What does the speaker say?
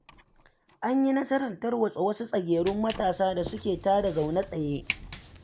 An yi nasarar tarwatsa wasu tsagerun matasa da suke tada zaune tsaye.